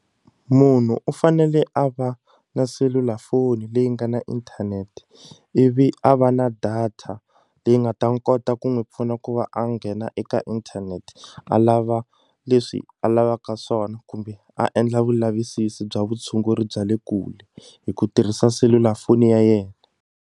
Munhu u fanele a va na selulafoni leyi nga na inthanete ivi a va na data leyi nga ta ni kota ku n'wi pfuna ku va a nghena eka inthanete a lava leswi a lavaka swona kumbe a endla vulavisisi bya vutshunguri bya le kule hi ku tirhisa selulafoni ya yena.